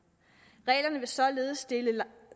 reglerne vil således stille